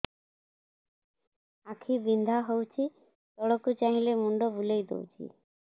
ଆଖି ବିନ୍ଧା ହଉଚି ତଳକୁ ଚାହିଁଲେ ମୁଣ୍ଡ ବୁଲେଇ ଦଉଛି